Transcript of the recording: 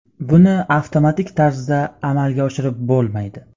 Buni avtomatik tarzda amalga oshirib bo‘lmaydi.